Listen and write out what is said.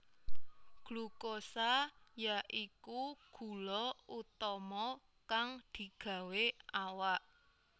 Glukosa ya iku gula utama kang digawé awak